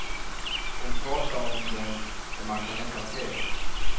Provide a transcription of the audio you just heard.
Hon pratar om den och man kan nästan se den.